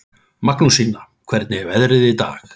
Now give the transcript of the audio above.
Magnúsína, hvernig er veðrið í dag?